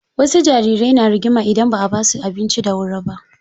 Wasu jarirai na rigima idan ba a basu abinci da wuri ba.